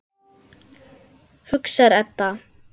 hugsar Edda.